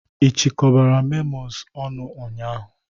Ị chịkọbara memos ọnụ ụnyaahụ?